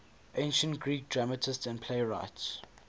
ancient greek dramatists and playwrights